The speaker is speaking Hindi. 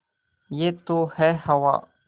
यह तो है हवा